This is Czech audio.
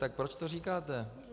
Tak proč to říkáte?